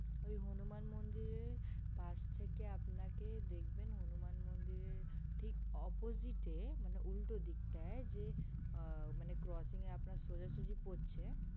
ওই হনুমান মন্দিরের পাশ থেকে আপনাকে দেখবেন ওই হনুমান মন্দিরের ঠিক opposite তে মানে ওই উল্টো দিকটাই যে coaching টা সোজাসোজি পড়ছে